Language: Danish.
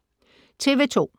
TV 2